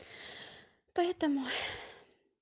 поэтому